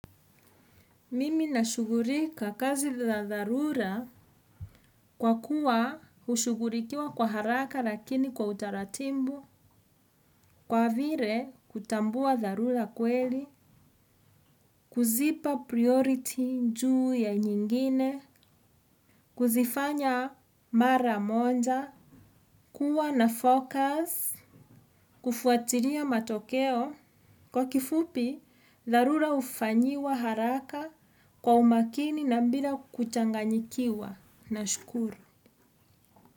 Mimi nashugulika kazi za dharura kwa kuwa hushugulikiwa kwa haraka lakini kwa utaratibu, kwa vile kutambua dharura kweli kuzipa 'priority' njuu ya nyingine, kuzifanya mara moja, kuwa na 'focus', kufuatilia matokeo. Kwa kifupi, dharura hufanyiwa haraka kwa umakini na bila kuchanganyikiwa. Nashukuru.